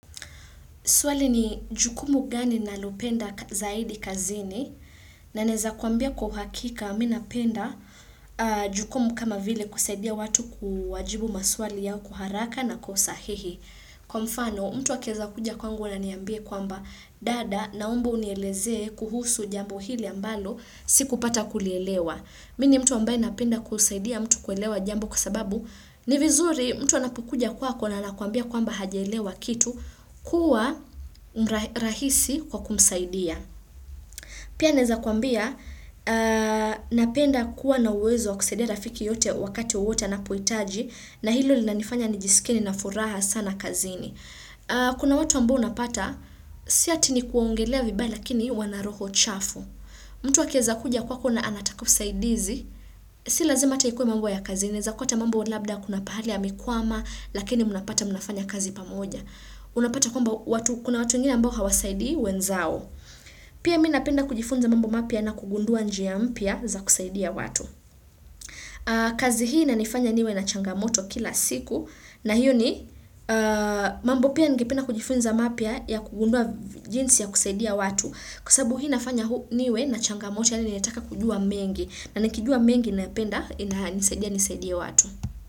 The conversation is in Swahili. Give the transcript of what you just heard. Swali ni jukumu gani nalopenda zaidi kazini na naweza kuambia kwauhakika minapenda jukumu kama vile kusaidia watu kuwajibu maswali yao kuharaka na kwausahihi. Kwa mfano mtu wakiwezakuja kwangu na aniambie kwamba dada naomba unieleze kuhusu jambo hili ambalo sikupata kulielewa. Mi ni mtu ambaye napenda kusaidia mtu kuelewa jambo kwa sababu ni vizuri mtu anapukuja kwako na akwambia kwamba hajelewa kitu kuwa mrahisi kwa kumsaidia. Pia naweza kwambia napenda kuwa na uwezo kusaidia rafiki yote wakati wowote anapohitaji na hilo linanifanya nijisikie nina furaha sana kazini. Kuna watu ambao unapata sio ati ni kuwaongelea vibayi lakini wanaroho chafu. Mtu akiweza kuja kwako na anataka usaidizi, si lazima hata ikuwa mambo ya kazi inaweza kua hata mambo labda kuna pahali amekwama lakini mnapata mnafanya kazi pamoja. Unapata kwamba kuna watu wengini ambao hawasaidii wenzao. Pia mi napenda kujifunza mambo mapya na kugundua njia mpya za kusaidia watu. Kazi hii inanifanya niwe na changamoto kila siku na hiyo ni mambo pia ningependa kujifunza mapya ya kugundua jinsi ya kusaidia watu. Kusabu hii nafanya huu niwe na changamoto yani netaka kujua mengi na nakijua mengi na nisaidie nisaidie watu.